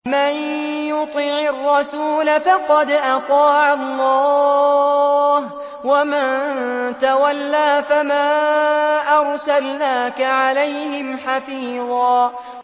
مَّن يُطِعِ الرَّسُولَ فَقَدْ أَطَاعَ اللَّهَ ۖ وَمَن تَوَلَّىٰ فَمَا أَرْسَلْنَاكَ عَلَيْهِمْ حَفِيظًا